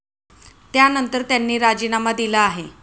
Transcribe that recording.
त्यानंतर, त्यांनी राजीनामा दिला आहे.